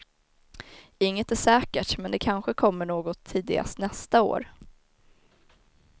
Inget är säkert men det kanske kommer något tidigast nästa år.